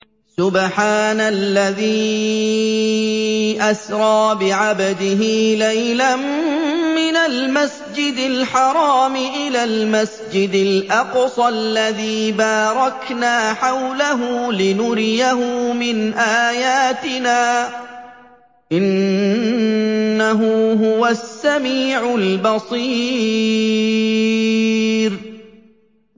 سُبْحَانَ الَّذِي أَسْرَىٰ بِعَبْدِهِ لَيْلًا مِّنَ الْمَسْجِدِ الْحَرَامِ إِلَى الْمَسْجِدِ الْأَقْصَى الَّذِي بَارَكْنَا حَوْلَهُ لِنُرِيَهُ مِنْ آيَاتِنَا ۚ إِنَّهُ هُوَ السَّمِيعُ الْبَصِيرُ